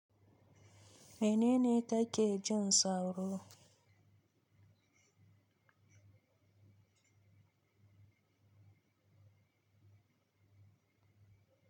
Menene take jin sauro?